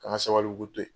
K'an ka sabalibugu to yen